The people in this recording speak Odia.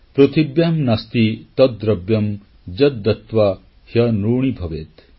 ପୃଥିବ୍ୟାଂ ନାସ୍ତି ତଦ୍ ଦ୍ରବ୍ୟମ୍ ଯଦ୍ ଦତ୍ୱା ହ୍ୟନୃଣୀ ଭବେତ୍